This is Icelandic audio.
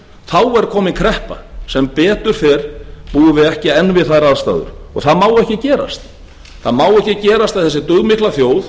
þá er komin kreppa sem betur fer búum við ekki enn við þær aðstæður og það má ekki gerast það má ekki gerast að þessi dugmikla þjóð